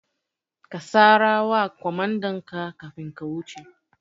Ka sara wa kwamandanka kafin ka wuce